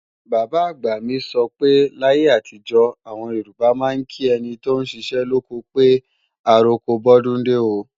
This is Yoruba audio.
Bàbá-àgbà mi sọ pé láyé àtijọ́, àwọn Yorùbá máa ń kí ẹni tóún ṣiṣẹ́ lóko pé "àroko bọ́dúndé o"